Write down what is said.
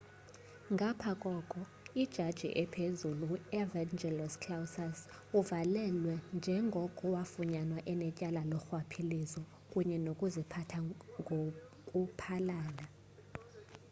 ngapha koko ijaji ephezulu u-evangelos kalousis uvalelwe njengoko wafunyanwa enetyala lorhwaphilizo kunye nokuziphatha ngoku phalala